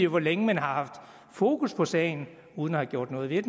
hvor længe man har haft fokus på sagen uden at have gjort noget ved